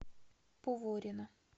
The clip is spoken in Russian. поворино